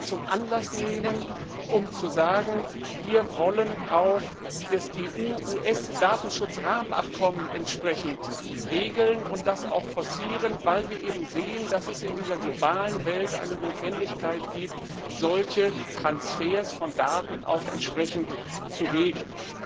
zum Anlass nehmen, um zu sagen, wir wollen auch das EU US Datenschutzrahmenabkommen regeln und das auch forcieren, weil wir eben sehen, dass es in dieser globalen Welt eine Notwendigkeit gibt, solche Transfers von Daten zu regeln.